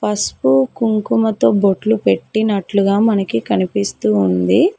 పసుపు కుంకుమతో బొట్లు పెట్టినట్లుగా మనకి కనిపిస్తూ ఉంది.